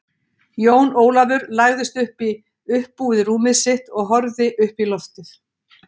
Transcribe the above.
Jón Ólafur lagðist upp í uppbúið rúmið sitt og horfði upp í loftið.